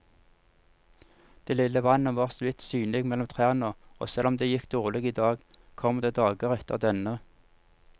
Det lille vannet var såvidt synlig mellom trærne, og selv om det gikk dårlig i dag, kommer det dager etter denne.